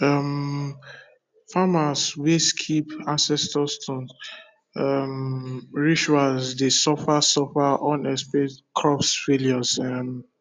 um farmers wey skip ancestor stone um rituals dey suffer suffer unexplained crop failures um